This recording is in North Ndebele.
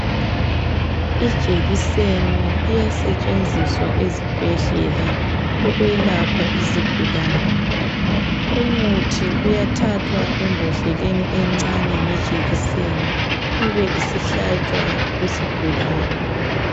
Ijekiseni iyasetshenziswa ezibhedlela ukwelapha izigulane. Umuthi uyathathwa embhodleleni encane ngejekiseni ibe isihlatshwa kusigulane.